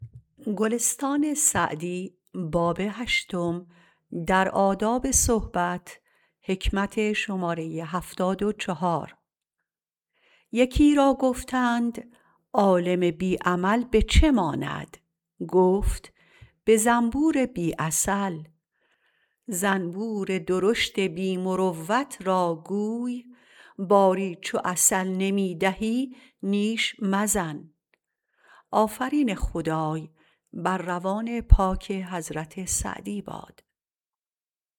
یکی را گفتند عالم بی عمل به چه ماند گفت به زنبور بی عسل زنبور درشت بی مروت را گوی باری چو عسل نمی دهی نیش مزن